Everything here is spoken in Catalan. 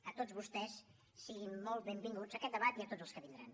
a tots vostès siguin molt benvinguts a aquest debat i a tots els que vindran